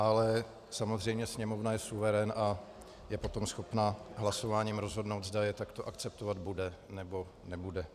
Ale samozřejmě Sněmovna je suverén a je potom schopna hlasováním rozhodnout, zda je takto akceptovat bude, nebo nebude.